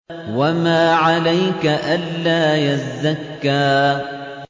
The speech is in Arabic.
وَمَا عَلَيْكَ أَلَّا يَزَّكَّىٰ